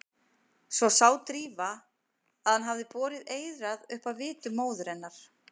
Svo sá Drífa að hann hafði borið eyrað upp að vitum móður hennar.